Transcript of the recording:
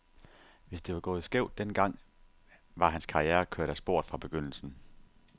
Hvis det var gået skævt den gang, var hans karriere kørt af sporet fra begyndelsen.